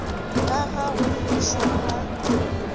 ka ga go fišwa ga